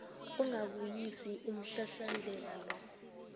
ungabuyisi umhlahlandlela lo